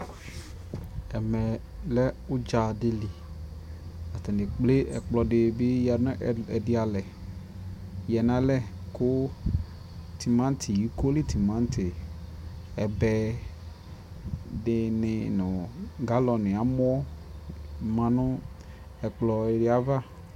ɛmɛ lɛ ʋdza dili, atani ɛkplɛ ɛkplɔ dibi yanʋ ɛdi alɛ yanʋ alɛ kʋ tʋmati, ikɔli tʋmanti, ɛbɛ dini nʋ galloni, amɔ manʋ ɛkplɔ di aɣa